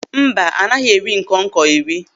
No, a praying mantis isn't edible.